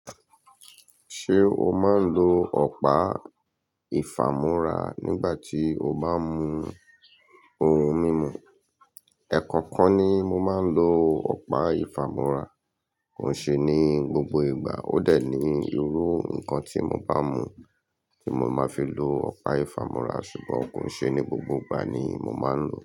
Ṣé o máa ń lo ọ̀pá ìfàmúrà nígbà tí o bá mú ohun mímu? Ẹ̀ẹ̀kọ̀kọ̀kan ni mo máa ń lo ọ̀pá ìfàmúrà, kò ṣe ní gbogbo ìgbà. Ó de ní irú nǹkan tí mo bá mú tí mo máa fi lo ọ̀pá ìfàmúrà, ṣùgbọ́n kò ṣe ní gbogbo ìgbà ni mo máa ń lò ó.